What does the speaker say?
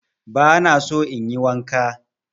Ban so in yi wanka.